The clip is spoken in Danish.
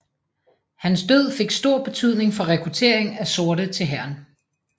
Hans død fik stor betydning for rekrutteringen af sorte til hæren